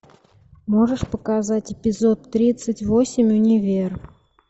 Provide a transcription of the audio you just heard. можешь показать эпизод тридцать восемь универ